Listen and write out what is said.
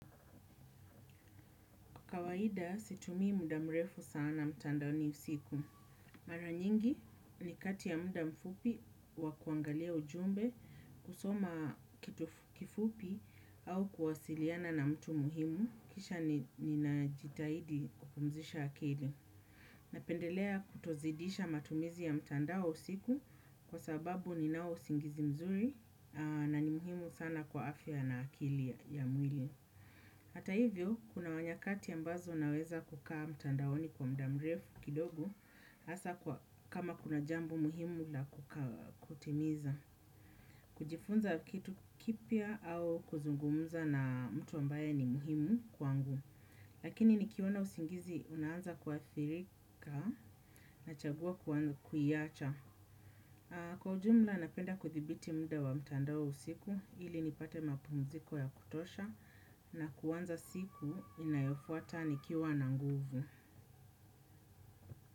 Kwa kawaida situmii muda mrefu sana mtandaoni usiku. Mara nyingi ni kati ya muda mfupi wa kuangalia ujumbe kusoma kifupi au kuwasiliana na mtu muhimu kisha ninajitahidi kupumzisha akili. Napendelea kutozidisha matumizi ya mtandao usiku kwa sababu ninao usingizi mzuri na ni muhimu sana kwa afya na akili ya mwili. Hata hivyo, kuna nyakati ambazo naweza kukaa mtandaoni kwa muda mrefu kidogo, hasa kama kuna jambo muhimu la kutimiza. Kujifunza kitu kipya au kuzungumza na mtu ambaye ni muhimu kwangu, lakini nikiona usingizi unaanza kuathirika nachagua kuiacha. Kwa ujumla napenda kuthibiti muda wa mtandao usiku ili nipate mapumziko ya kutosha na kuanza siku inayofuata nikiwa na nguvu.